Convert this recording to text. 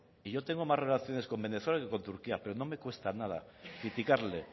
y yo tengo más relaciones con venezuela que con turquía pero no me cuesta nada criticarle